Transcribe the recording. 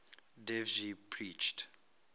dev ji preached